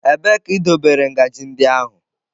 Ebee ka idobere ngaji ndị ahụ?